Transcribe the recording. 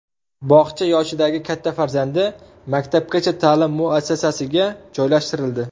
Bog‘cha yoshidagi katta farzandi maktabgacha ta’lim muassasasiga joylashtirildi.